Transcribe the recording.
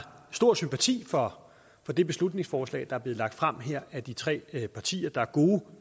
stor sympati for det beslutningsforslag der er blevet lagt frem her af de tre partier der er gode